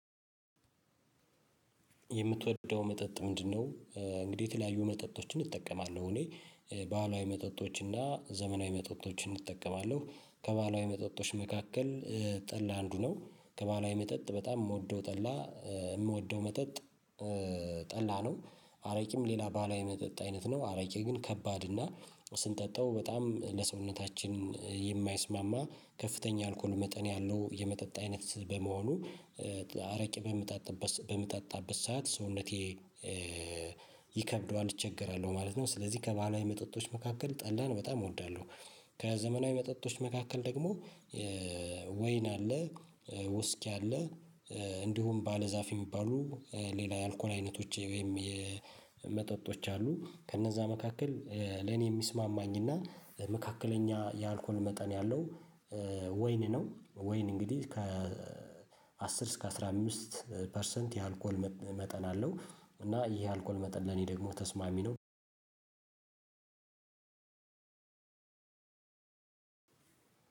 የምትወደው መጠጥ ምንድነው? እንግዲህ የተለያዩ መጠጦችን እጠቀማለሁ እኔ ባህላዊ መጠጦች እና ዘመናዊ መጠጦችን እጠቀማለሁ። ከባህላዊ መጠጦች መካከል ጠላ አንዱ ነው። ከባህላዊ መጠጥ በጣም የምወደው ጠላ የምወደው መጠጥ። ጠላ ነው አረቂም ሌላ ባህላዊ የመጠጥ አይነት ነው። አረቂ ግን ከባድ እና ስንጠጣው በጣም ለሰውነታችን የማይስማማ ከፍተኛ አልኮል መጠን ያለው የመጠጥ አይነት በመሆኑ አረቄ በምጠጣበት ሰዓት ሰውነቴ ይከብደዋል እቸገራለሁ ማለት ነው። ስለዚህ ከባህላ መጠጦች መካከል ጠላን በጣም እወዳለሁ። ከዘመናዊ መጠጦች መካከል ደግሞ ወይን አለ ውስኪ አለ እንዲሁም ባለዛፍ የሚባሉ ሌላ የአልኮል አይነቶቼ ወይም የመጠጦች አሉ። ከእነዛ መካከል ለኔ የሚስማማኝና መካከለኛ የአልኮል መጠን ያለው ወይን ነው። ወይን እንግዲህ ከአስር እስከ አስራ አምስት ፐርሰንት የአልኮል መጠን አለው። እና ይሄ አልኮል መጠን ለኔ ደግሞ ተስማሚ ነው። አንድ